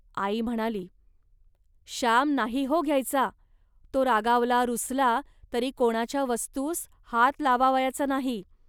.आई म्हणाली, "श्याम नाही हो घ्यायचा. तो रागावला रुसला, तरी कोणाच्या वस्तूस हात लावावयाचा नाही